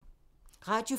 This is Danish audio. Radio 4